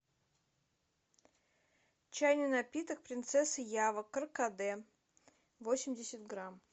чайный напиток принцесса ява каркаде восемьдесят грамм